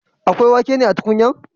Akwa wake na a tukunya?